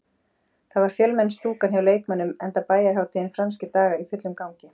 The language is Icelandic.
Það var fjölmenn stúkan hjá Leiknismönnum, enda bæjarhátíðin Franskir dagar í fullum gangi.